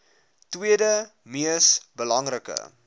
tweede mees belangrike